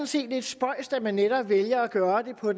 set lidt spøjst at man netop vælger at gøre det når